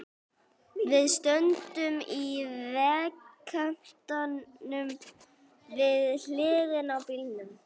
Við stöndum í vegkantinum, við hliðina á bílnum.